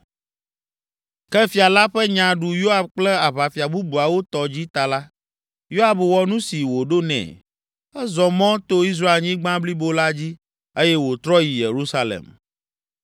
Ke fia la ƒe nya ɖu Yoab kple aʋafia bubuawo tɔ dzi ta la, Yoab wɔ nu si wòɖo nɛ. Ezɔ mɔ to Israelnyigba blibo la dzi eye wòtrɔ yi Yerusalem.